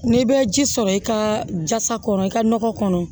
N'i bɛ ji sɔrɔ i ka jasa kɔnɔ i ka nɔgɔ kɔnɔ